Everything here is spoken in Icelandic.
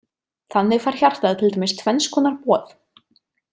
Þannig fær hjartað til dæmis tvenns konar boð.